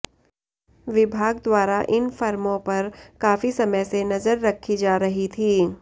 विभाग द्वारा इन फर्मों पर काफी समय से नजर रखी जा रही थी